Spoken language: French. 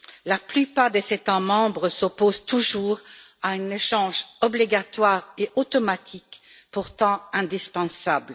La plupart des États membres s'opposent toujours à un échange obligatoire et automatique, pourtant indispensable.